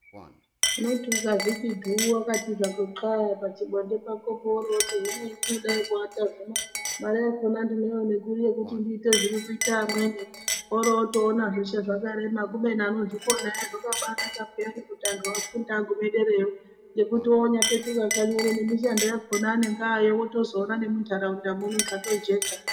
Unoti ukazviti dhuu wakati hako xlaa pachibonde chako po woroti hino hendinodai kuwata zvino mare yakhona ndinoiona kuri yekuti ndiite zviri kuita amweni. Worotoona zveshe zvakarema kubeni anozvikona aya zvakabaanaka peyani kuti antu afunde agume derayo. Ngokuti onyapetuka kanyi uno nemishando yakhona anenge aayo wotozoona nemunharaunda muno zvatojeka.